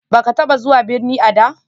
Baka taba zuwa birni a da?